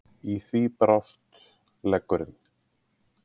Í því brast leggurinn.